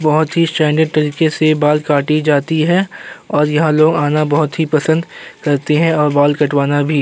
बहोत ही स्टैंडर्ट तरीके से बाल काटी जाती है और यहाँ लोग आना बहोत ही पसंद करते है और बाल कटवाना भी --